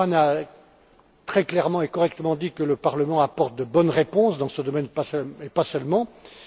Bullmann a très clairement et correctement dit que le Parlement apporte de bonnes réponses dans ce domaine, et pas seulement là.